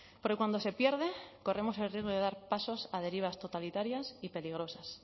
porque cuando se pierde corremos el riesgo de dar pasos a derivas totalitarias y peligrosas